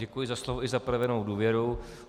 Děkuji za slovo i za projevenou důvěru.